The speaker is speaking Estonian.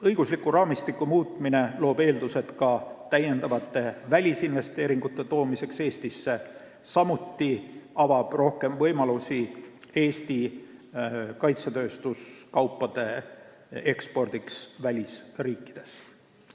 Õigusliku raamistiku muutmine loob eeldused ka täiendavate välisinvesteeringute toomiseks Eestisse, samuti avab rohkem võimalusi Eesti kaitsetööstuskaupade ekspordiks välisriikidesse.